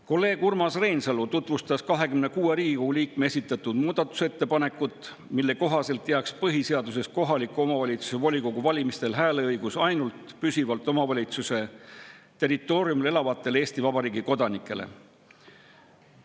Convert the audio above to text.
Kolleeg Urmas Reinsalu tutvustas 26 Riigikogu liikme esitatud muudatusettepanekut, mille kohaselt jääks põhiseaduses kohaliku omavalitsuse volikogu valimistel hääleõigus ainult püsivalt omavalitsuse territooriumil elavatele Eesti Vabariigi kodanikele.